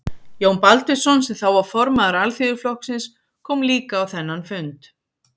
Jón Baldvinsson, sem þá var formaður Alþýðuflokksins, kom líka á þennan fund.